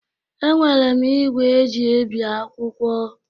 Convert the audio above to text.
Enwere m igwe eji ebi akwụkwọ.